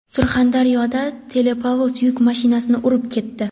Surxondaryoda teplovoz yuk mashinasini urib ketdi.